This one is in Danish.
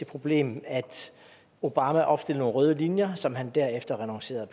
problem at obama opstillede nogle røde linjer som han derefter renoncerede